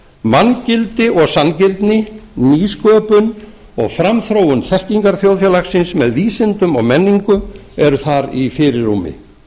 manngildi og sanngirni nýsköpun og framþróun þekkingarþjóðfélagsins með vísindum og menningu eru þar í fyrirrúmi